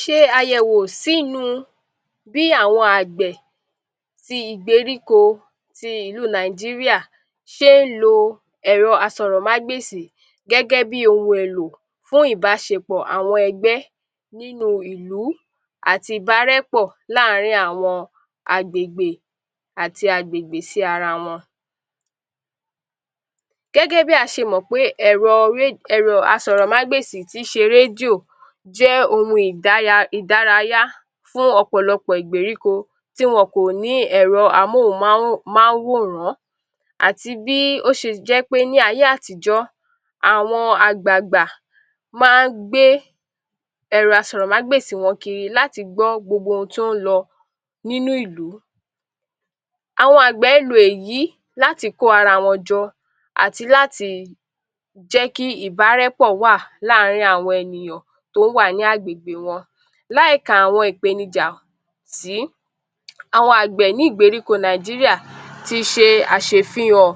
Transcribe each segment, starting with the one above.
Ṣé àyẹ̀wò sínú bí àwọn agbẹ̀ tí ìgbèríko ìlú Nàìjíríà lo ẹ̀rọ àsọ̀rọ̀mágbèsì gẹ́gẹ́ bí ohun èlò fún ìbáṣèpọ̀ àwọn ẹgbẹ́ nínú àwọn ìlú àti ìbárẹ́pọ̀ láàárín àwọn àgbègbè àti àgbègbè sí ara wọn. Gẹ́gẹ́ bí a ṣe mọ pé ẹ̀rọ, Ẹ̀rọ àsọ̀rọ̀mágbèsì tí ń ṣe rédíò jẹ́ ohun [idaya] ìdárayá fún ọ̀pọ̀lọpọ̀ ìgbèríko tí wọn kò ní Ẹ̀rọ àmọ́hùnmáwòran àti bí ó ṣe jẹ́ pé ní ayé àtijọ́, àwọn àgbagbà máa ń gbé ẹ̀rọ àsọ̀rọ̀mágbèsì wọn kiri láti gbọ́ gbogbo ohun tí ó ń lọ nínú ìlú. Àwọn àgbà ń ló èyí láti kó ara wọn jọ àti láti jẹ kí ìbárẹ́pọ̀ wà láàárín àwọn ènìyàn tí ó wà ní agbègbè wọn láì ká àwọn ìpénijà sí, àwọn agbẹ̀ ní ìgbèríko Nàìjíríà tí ṣe àṣẹfihàn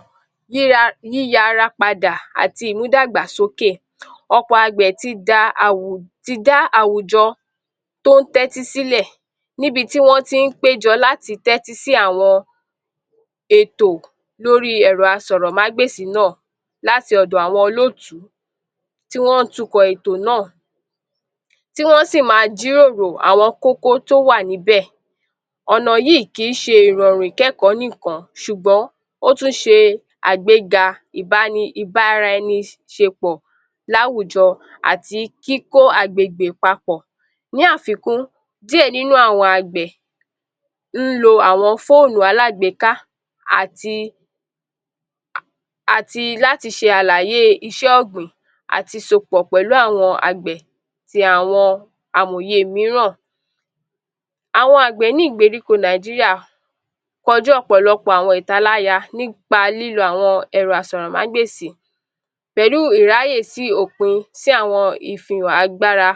yíyara padà àti ìmúdàgbàsókè, ọ̀pọ̀ agbẹ̀ tí da àwùjọ tí ó ń tẹ́tí sílẹ̀ níbi tí wọn tí ń péjọ láti tẹ́tí sí àwọn ètò lórí Ẹ̀rọ àsọ̀rọ̀mágbèsì náà láti ọ̀dọ̀ àwọn olótùú tí wọn tún kọ́ ètò náà, tí wọn sí máa jíròrò àwọn kókó tí ó wà níbẹ̀, ọ̀nà yìí kì í ṣe ìrọrùn ìkẹ́kọ̀ọ́ nìkan ṣùgbọ́n ó tún ṣé agbéga ibárẹniṣepọ̀ láwùjọ àti kíkó agbègbè papọ̀. Ní àfikún, díẹ̀ nínú àwọn agbẹ̀ ń lo fóònù alágbeéká àti, àti láti ṣàlàyé iṣẹ́ ọgbìn àti sopọ̀ pẹ̀lú àwọn agbẹ̀ tí àwọn amòye mìíràn. Àwọn agbẹ̀ ní ìgbèríko Nàìjíríà kọjú ọ̀pọ̀lọpọ̀ àwọn ìtàláya nípa lílo àwọn ẹ̀rọ àsọ̀rọ̀mágbèsì pẹ̀lú ìráyè sí òpin sí àwọn ìfihàn agbára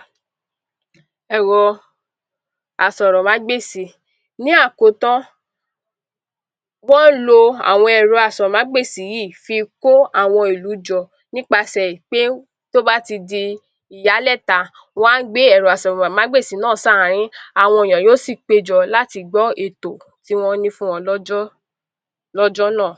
Ẹ̀rọ àsọ̀rọ̀mágbèsì. Ní àkótán, wọn ń lo àwọn ẹ̀rọ àsọ̀rọ̀mágbèsì yìí fi kó àwọn ìlú jọ nípasẹ̀ pé tí ó bá a ti di ìyálẹ̀ta wa gbé ẹ̀rọ àsọ̀rọ̀mágbèsì náà sí àárín àwọn èèyàn yóò sí péjọ láti gbọ́ ètò tí wọn ní fún wọn lọ́jọ́ náà.